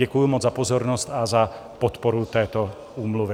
Děkuji moc za pozornost a za podporu této úmluvy.